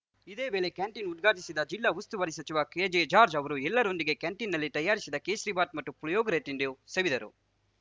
ಇದೇ ವೇಳೆ ಕ್ಯಾಂಟೀನ್‌ ಉದ್ಘಾಟಿಸಿದ ಜಿಲ್ಲಾ ಉಸ್ತುವಾರಿ ಸಚಿವ ಕೆಜೆಜಾರ್ಜ್ ಅವರು ಎಲ್ಲರೊಂದಿಗೆ ಕ್ಯಾಂಟೀನ್‌ನಲ್ಲಿ ತಯಾರಿಸಿದ ಕೇಸರಿ ಬಾತ್‌ ಮತ್ತು ಪುಳಿಯೋಗರೆ ತಿಂಡಿ ಸವಿದರು